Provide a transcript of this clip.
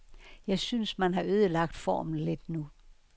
Jeg synes, man har ødelagt formen lidt nu.